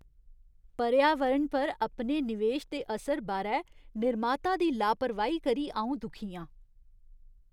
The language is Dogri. पर्यावरण पर अपने निवेश दे असर बारै निर्माता दी लापरवाही करी अ'ऊं दुखी आं।